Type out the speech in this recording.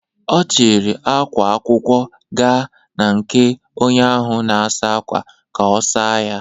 Ọ chiri ákwá akwụkwọ gaa na nke onye ahụ na-asa ákwà ka ọ saa ya.